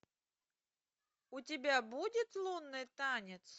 у тебя будет лунный танец